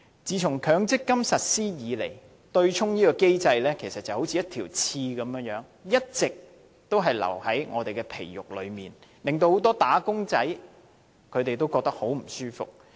自從強積金計劃實施以來，對沖機制其實就好像一根刺，一直刺着我們，令很多"打工仔"感到很不舒服。